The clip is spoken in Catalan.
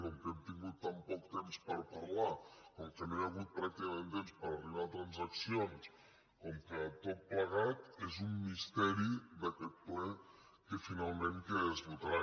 com que hem tingut tan poc temps per parlar com que no hi ha hagut pràcticament temps per arribar a transaccions com que tot plegat és un misteri d’aquest ple finalment què és votarà